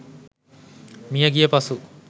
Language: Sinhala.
මියගිය පසු